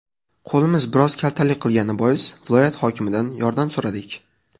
Qo‘limiz biroz kaltalik qilgani bois viloyat hokimidan yordam so‘radik.